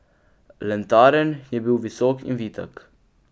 Lentaren je bil visok in vitek.